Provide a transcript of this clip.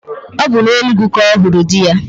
Ọ bụ na Enugwu ka ọ hụrụ di ya